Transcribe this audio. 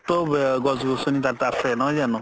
যুক্ত গছ গছনি তাত আছে নহয় জানো